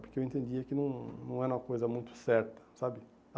Porque eu entendia que não não era uma coisa muito certa, sabe? A